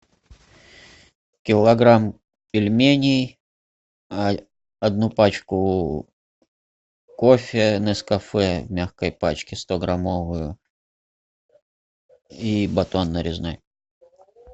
килограмм пельменей одну пачку кофе нескафе в мягкой пачке сто граммовую и батон нарезной